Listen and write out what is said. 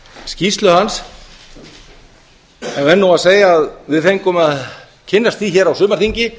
skýrslu hans en verð nú að segja að við fengum að kynnast því hér á sumarþingi